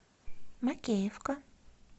макеевка